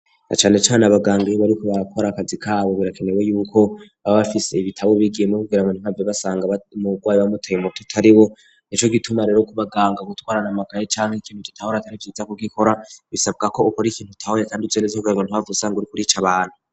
Na cane cane abaganga iyo bariko barakora akazi kabo birakenewe yuko baba bafise ibitabo bigiyemwo kugira ngo ntibahave basanga umurwayi bamuteye umuti utariwo, nico gituma rero kubaganga gutwarana amakaye canke ikintu udatahura atari vyiza ku gikora, bisabwa ko ukora ikintu utahuye kandi uzi neza kugira ngo ntuhave usanga uriko urica abantu.